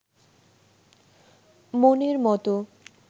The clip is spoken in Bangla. মনের মতো